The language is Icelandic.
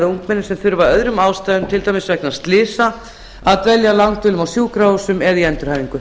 ungmenni sem þurfa af öðrum ástæðum til dæmis vegna slysa að dvelja langdvölum á sjúkrahúsum eða í endurhæfingu